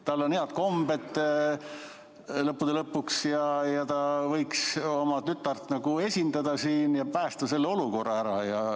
Tal on head kombed lõppude lõpuks ja ta võiks oma tütart nagu esindada siin ja päästa selle olukorra ära.